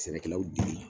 Sɛnɛkɛlaw dege